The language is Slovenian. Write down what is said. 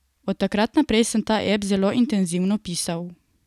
Od takrat naprej sem ta ep zelo intenzivno pisal.